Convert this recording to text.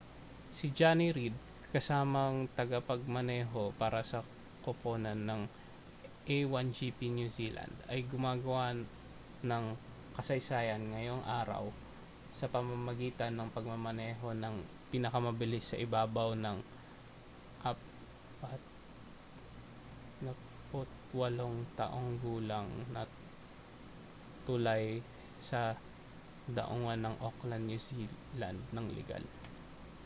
si jonny reid kasamang tagapagmaneho para sa koponan ng a1gp new zealand ay gumawa ng kasaysayan ngayong araw sa pamamagitan ng pagmamaneho nang pinakamabilis sa ibabaw ng 48-taong gulang na tulay sa daungan ng auckland new zealand nang ligal